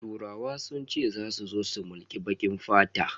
Turawa sun ce zasu zo su mulki bakin fata.